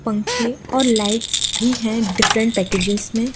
पंखें और लाइट्स भी है डिफरेंट पैकेज में --